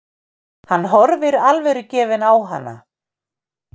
Hann horfir alvörugefinn á hana.